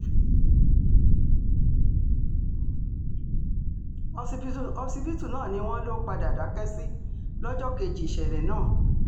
ọsibítù náà ni wọ́n lọ padà dákẹ́ sí lọ́jọ́ kejì ìṣẹ̀lẹ̀ náà